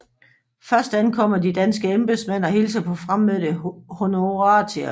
Først ankommer de danske embedsmænd og hilser på fremmødte honoratiores